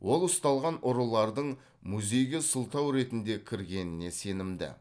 ол ұсталған ұрылардың музейге сылтау ретінде кіргеніне сенімді